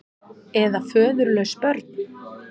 Eða föðurlaus börn.